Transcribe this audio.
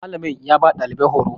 Malamin ya ba dalibin horo